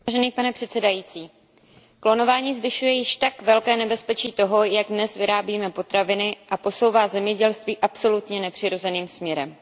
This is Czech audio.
Vážený pane předsedající, klonování zvyšuje již tak velké nebezpečí toho, jak dnes vyrábíme potraviny, a posouvá zemědělství absolutně nepřirozeným směrem.